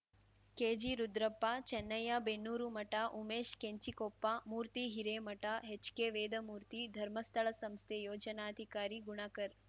ಕೆಜಿರುದ್ರಪ್ಪ ಚನ್ನಯ್ಯಬೆನ್ನೂರು ಮಠ ಉಮೇಶ್‌ ಕೆಂಚಿಕೊಪ್ಪ ಮೂರ್ತಿ Hiremath HK Vedamurthy Dharmasthala ಸಂಸ್ಥೆ ಯೋಜನಾಧಿಕಾರಿ ಗುಣಕರ್